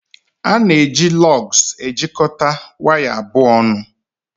A na-eji Lọgs ejikọta waya abụọ ọnụ